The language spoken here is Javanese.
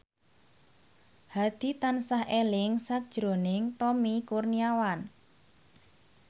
Hadi tansah eling sakjroning Tommy Kurniawan